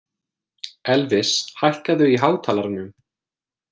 Elvis, hækkaðu í hátalaranum.